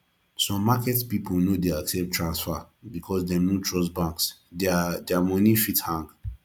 some market pipo no de accept transfer because dem no trust banks their their money fit hang